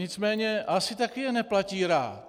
Nicméně asi také je neplatí rád.